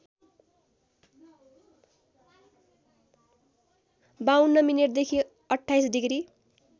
५२ मिनेटदेखि २८ डिग्री